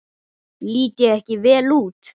Lít ég ekki vel út?